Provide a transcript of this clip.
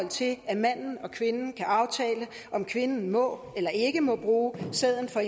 til at manden og kvinden kan aftale om kvinden må eller ikke må bruge sæden fra